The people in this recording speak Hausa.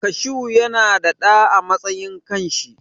Kashu yana da ɗa a matsayin kan shi.